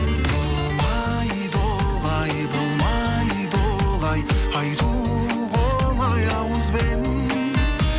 болмайды олай болмайды олай айтуға оңай ауызбен